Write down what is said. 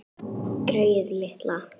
Greyið litla!